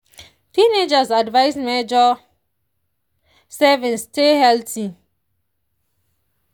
teenagers advised measure servings stay healthy.